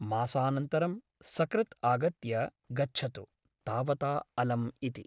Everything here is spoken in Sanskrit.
मासानन्तरं सकृत् आगत्य गच्छतु । तावता अलम् '' इति ।